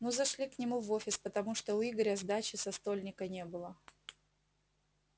ну зашли к нему в офис потому что у игоря сдачи со стольника не было